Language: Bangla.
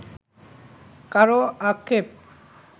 কারও আক্ষেপ